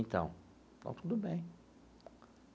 Então, então tudo bem.